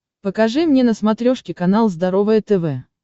покажи мне на смотрешке канал здоровое тв